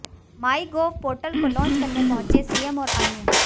MyGov portal को launch करने पहुंचे सीएम और अन्य